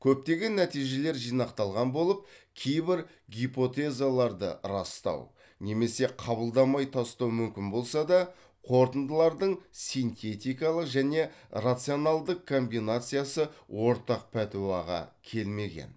көптеген нәтижелер жинақталған болып кейбір гипотезаларды растау немесе қабылдамай тастау мүмкін болса да қорытындылардың синтетикалық және рационалдық комбинациясы ортақ пәтуаға келмеген